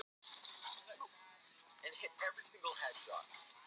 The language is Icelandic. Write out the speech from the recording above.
Elíngunnur, slökktu á þessu eftir tuttugu og fjórar mínútur.